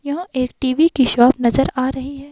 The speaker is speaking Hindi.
यहां एक टी_वी की शॉप नजर आ रही है।